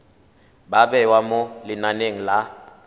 ba bewa mo lenaneng la